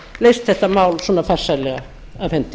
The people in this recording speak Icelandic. leyst þetta mál svo farsællega af hendi